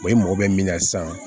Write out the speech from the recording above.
i mago bɛ min na sisan